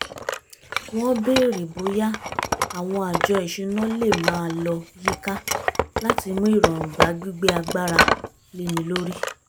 wọ́n bèrè bóyá àwọn àjọ ìṣúná lè máa lọ yíká láti mú ìrọ̀rùn bá gbígbé agbára léni lórí